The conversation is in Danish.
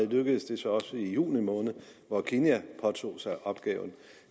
lykkedes det så også i juni måned hvor kenya påtog sig opgaven